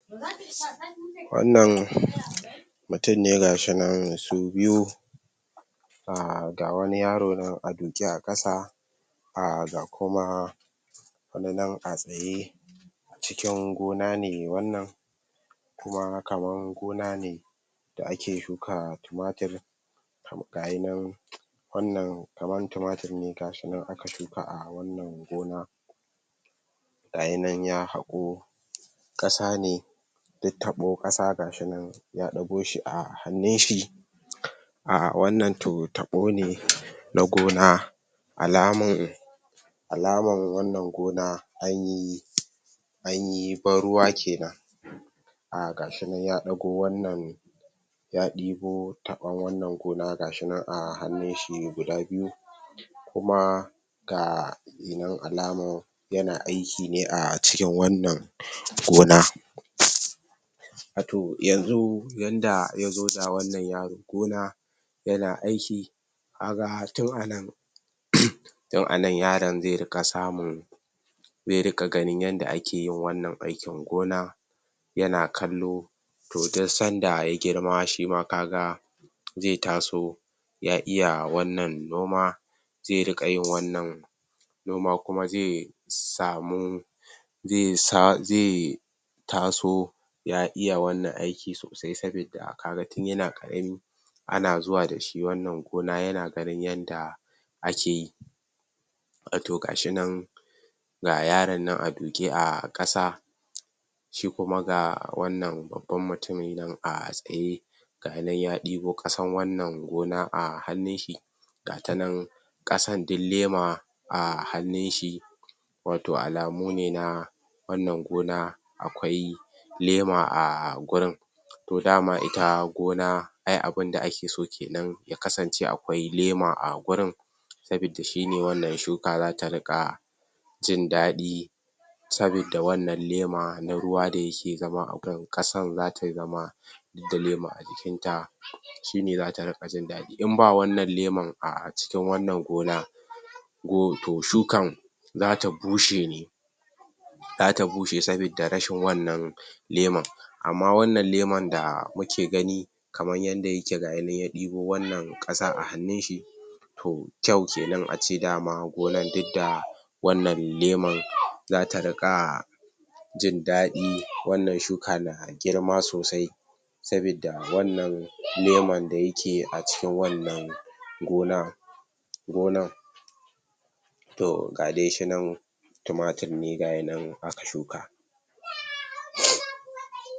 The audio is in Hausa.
Wannan mutum ne ga shi nan su biyu um ga wani yaro nan a duke a ƙasa. um Ga kuma wani nan a tsaye. Can gona ne wannan kuma kaman gona ne da ake shuka tumatir. Ga yi nan wannan kaman tumatur ne ga shi nan aka shuka a wannan gona. ga yi nan ya haƙo ƙasa ne duk taɓo, ƙasa ga shi nan ya ɗago shi a hannun shi um Wannan to taɓo ne na gona, alaman Alaman wannan gona an yi an yi ban-ruwa ke na um ga shi nan ya ɗago wannan ya ɗibo taɓon wannan gona ga shi nan a hannun shi guda biyu Kuma ga um alaman yana aiki ne a cikin wannan gona To, yanzu yanda ya zo da wannan yaro gona yana aiki, ka ga tun a nan don a nan yaron zai riƙa samun zai riƙa ganin yadda ake yin wannan aikin gona, yana kallo To, duk sanda ya girma ka ga shi ma zai taso ya iya wannan noma, zai riƙa yin wannan noma kuma zai samu zai sa, zai taso ya iya wannan aiki sosai sabida ka ga tun yana ƙarami ana zuwa da shi wannan gona yana ganin yanda ake yi To ga shi nan ga yaran nan a duƙe a ƙasa shi kuma ga wannan babban mutumi nan a tsaye ga yi nan ya ɗibo ƙasan wannan gona a hannun shi ga ta nan ƙasan duk lema a hannun shi. Wato alamu ne na wannan gona akwai lema a gurin Da ma ita gona ai abin da ake so ke nan, ya kasance akwai lema a gurin sabidda shi ne wanda shuka za ta riƙa jin daɗi sabidda wannan lema na ruwa da yake zama a kan ƙasan, za ta zama duk da lema a jikinta shi ne za ta riƙa jin daɗi. In ba wannan leman a cikin wannan gona, to shukan za ta bushe ne Za ta bushe sabida rashin wannan leman. Amma wannan leman da muke gani kaman yanda yake ga yi nan ya ɗibo wannan ƙasa a hannun shi To, kyau ke nan a ce da ma gona duk da wannan leman za ta riƙa jin daɗi. Wannan shuka na girma sosai sabidda wannan leman da yake a cikin wannan gona gonan. To, ga dai shi nan tumatir ne ga yi nan aka shika um.